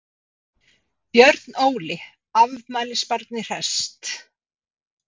Björn Óli, afmælisbarnið hresst?